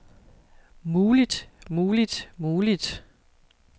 muligt muligt muligt